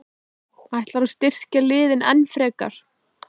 Ætlarðu að styrkja liðið enn frekar?